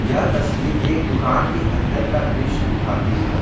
यह तस्वीर एक दुकान के अंदर का दृश्य दिखाई है।